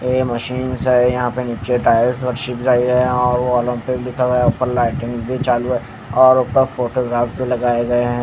यह मशीन्स हैं यहाँ पे नीचे टाइल्स और वो ओलंपिक लिखा हुआ है ऊपर लाइटिंग भी चालू है और ऊपर फोटोग्राफ भी लगाए गए हैं।